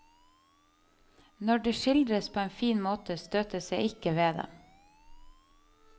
Når det skildres på en fin måte, støtes jeg ikke ved det.